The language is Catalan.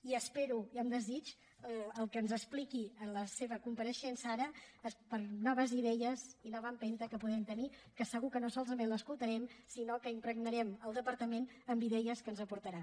i espero amb desig el que ens expliqui en la seva compareixença ara per noves idees i nova empenta que puguem tenir que segur que no solament l’escoltarem sinó que impregnarem el departament amb idees que ens aportarà